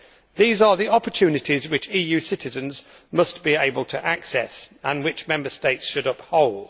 These are the opportunities which EU citizens must be able to access and which Member States should uphold.